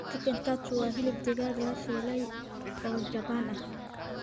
Chicken katsu waa hilib digaag la shiilay oo Jabbaan ah.